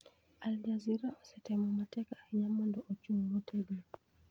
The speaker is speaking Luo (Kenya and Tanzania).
Al Jazeera osetemo matek ahinya mondo ochung ' motegno.